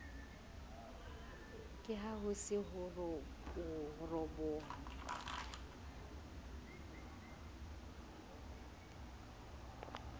ke haho se ho ropoha